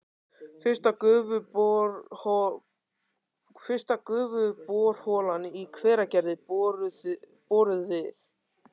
Fyrsta gufuborholan í Hveragerði boruð við